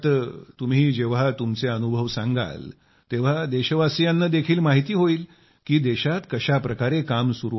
तुम्ही जेव्हा तुमचे अनुभव सांगाल तेव्हा देशवासियांना देखील माहिती होईल की देशात कशाप्रकारे काम सुरु आहे